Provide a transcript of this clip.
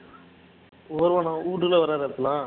ஒருவனை வீட்டுக்குள்ள